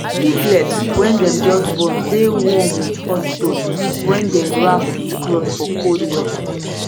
piglet wey dem just born dey warm with hot stone wey dem wrap with cloth for cold weather